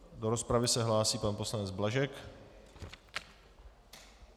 Do rozpravy se hlásí pan poslanec Blažek.